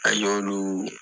An y'olu